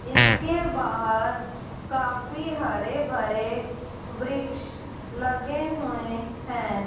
इसके बाहर काफ़ी हरे भरे वृक्ष लगे हुए है।